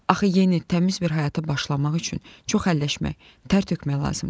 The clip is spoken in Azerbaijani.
Axı yeni, təmiz bir həyata başlamaq üçün çox həlləşmək, tər tökmək lazımdır.